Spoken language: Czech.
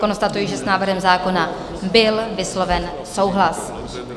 Konstatuji, že s návrhem zákona byl vysloven souhlas.